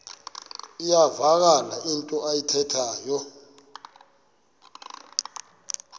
iyavakala into ayithethayo